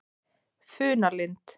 Funalind